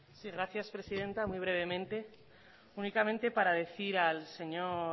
sí gracias presidenta muy brevemente únicamente para decir al señor